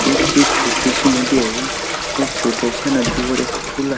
ही इतकी छोटीशी नदी आहे या छोट्याश्या नदीवर एक पूल आ --